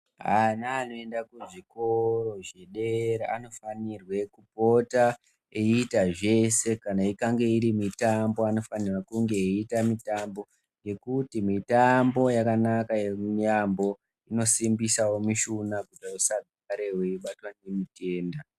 Vana vanoenda kuzvikora zvedera anofanirwa kupota eita zveshe veikange iri mitambo vanofana kunge eita mitambo ngekuti mitambo yakanaka yambo inosimbisawo mishuna dzagare dzeibatwa nemitenda.